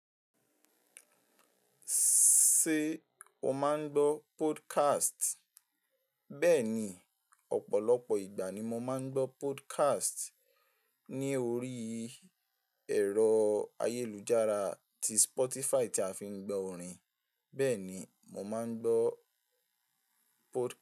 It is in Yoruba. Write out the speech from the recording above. Ṣé o máa ń gbọ́ podcast? Bẹ́ẹ̀ni, ọ̀pọ̀lọpọ̀ ìgbà ni mo máa ń gbọ́ podcast ní orí ẹ̀rọ ayélujára ti Spotify tí a fi ń gbọ́ orin, bẹ́ẹ̀ ni mo máa ń gbọ́ podcast.